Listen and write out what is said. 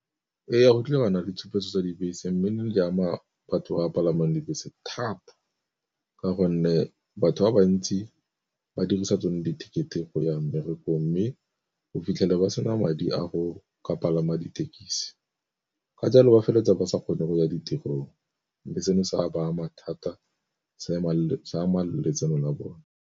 Ee, tlile gwa nna le tshupetso tsa dibese, mme ne di ama batho ba palamang dibese thata ka gonne batho ba bantsi ba dirisa tsone ditekete go ya mmerekong. Mme o fitlhele ba sena madi a go ka palama dithekisi, ka jalo ba feleletsa ba sa kgone go ya ditirong. Mme seno se ka ba ama thata se ama le letseno la bone.